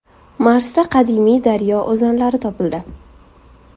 Marsda qadimiy daryo o‘zanlari topildi.